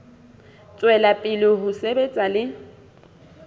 tswela pele ho sebetsa le